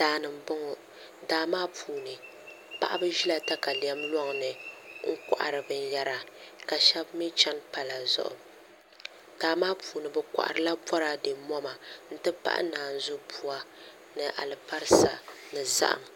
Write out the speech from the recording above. Daani n boŋo daa maa puuni paɣaba ʒila katalɛm loŋni n kohari binyɛra ka shab mii chɛni pala zuɣu daa maa puuni bi koharila boraadɛ moma n ti pahi naanzu buwa ni alibarisa ni zaham